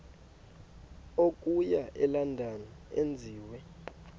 okuya elondon enziwe